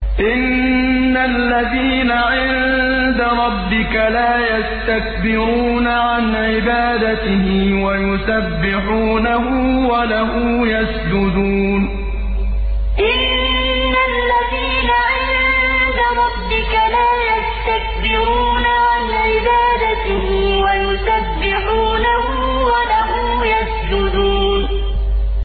إِنَّ الَّذِينَ عِندَ رَبِّكَ لَا يَسْتَكْبِرُونَ عَنْ عِبَادَتِهِ وَيُسَبِّحُونَهُ وَلَهُ يَسْجُدُونَ ۩ إِنَّ الَّذِينَ عِندَ رَبِّكَ لَا يَسْتَكْبِرُونَ عَنْ عِبَادَتِهِ وَيُسَبِّحُونَهُ وَلَهُ يَسْجُدُونَ ۩